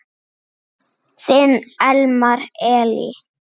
Þinn Elmar Elí.